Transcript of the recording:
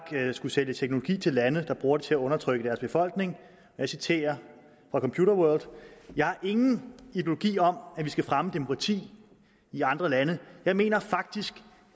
skulle sælge teknologi til lande der bruger det til at undertrykke deres befolkning og jeg citerer fra computerworld jeg har ingen ideologi om at vi skal fremme demokrati i andre lande jeg mener faktisk